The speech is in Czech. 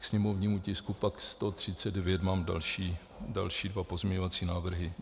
K sněmovnímu tisku 139 pak mám další dva pozměňovací návrhy.